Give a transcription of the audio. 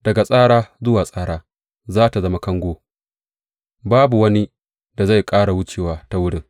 Daga tsara zuwa tsara za tă zama kango; babu wani da zai ƙara wucewa ta wurin.